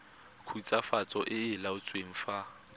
khutswafatso e e laotsweng fa